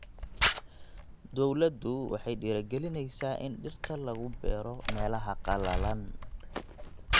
Dawladdu waxay dhiirigelinaysaa in dhirta lagu beero meelaha qallalan.